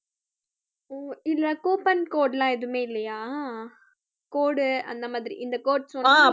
ஓ இதுல coupon code எல்லாம் எதுவுமே இல்லையா code அந்த மாதிரி இந்த code